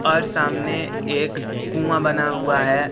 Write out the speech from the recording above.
और सामने एक कुआं बना हुआ है।